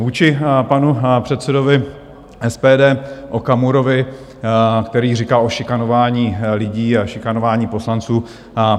Vůči panu předsedovi SPD Okamurovi, který říkal o šikanování lidí a šikanování poslanců.